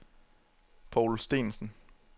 Paul Steensen